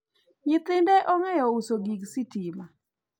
nyithinde ong'eyo uso gik sitima